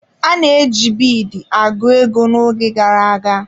A na-eji biidi agụ ego n'oge gara aga.